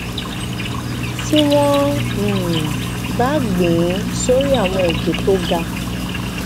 tí wón um bá gbìn ín sórí àwọn òkè tó ga